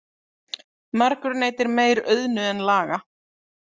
Margur neytir meir auðnu en laga.